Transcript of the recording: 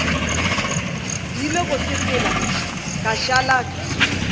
rile go sepela ka šala